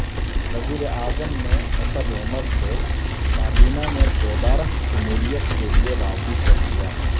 وزیراعظم نے اسد عمر کو کابینہ میں دوبارہ شمولیت کیلئے راضی کرلیا